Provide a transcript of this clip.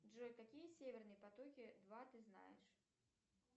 джой какие северные потоки два ты знаешь